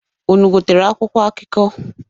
Unu gotere akwụkwọ akụkọ?